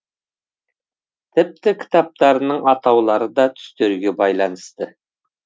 тіпті кітаптарының атаулары да түстерге байланысты